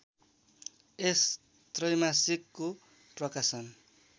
यस त्रैमासिकको प्रकाशन